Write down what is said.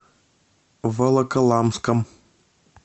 волоколамском